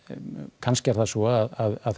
kannski er það svo að